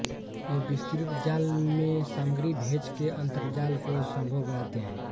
ये विस्तृत जाल में सामग्री भेज के अंतर्जाल को संभव बनाते हैं